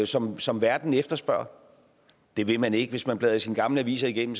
som som verden efterspørger det vil man ikke hvis man blader sine gamle aviser igennem